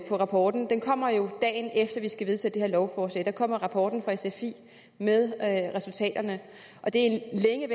rapporten den kommer jo dagen efter at vi skal vedtage det her lovforslag der kommer rapporten fra sfi med resultaterne og det